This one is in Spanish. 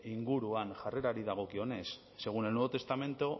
inguruan jarrerari dagokionez según el nuevo testamento